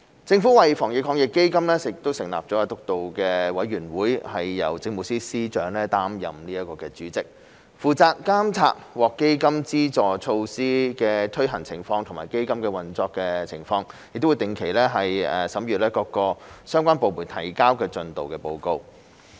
政府為基金成立防疫抗疫基金督導委員會，並由政務司司長擔任主席，負責監察獲基金資助措施的推行情況及基金的運作情況，並會定期審閱各相關部門提交的進度報告。